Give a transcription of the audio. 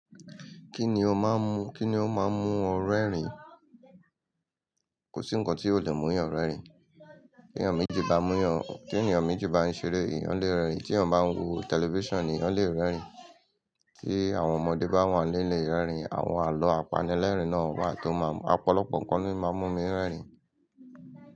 Kíni ó máa ń mú, kíni ó máa ń mú ọ rẹ́rìn? Kò sí nǹkan tí ò lè mú èèyàn rẹ́rìn. Tí ènìyàn méjì bá ń mú ènìyàn, tí ènìyàn méjì bá ń ṣeré, èèyàn lè rẹ́rìn. Tí èèyàn bá ń wo tẹlifíṣàn ni èèyàn lè rẹ́rìn. Tí àwọn ọmọdé bá wà nílé lè rẹ́rìn. Àwọn àlọ́ apanilẹ́rìn náà wà tó máa ń mú, ọ̀pọ̀lọpọ̀ nǹkan ni ó máa ń mú mi rẹ́rìn.